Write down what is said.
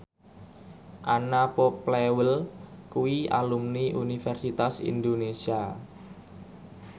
Anna Popplewell kuwi alumni Universitas Indonesia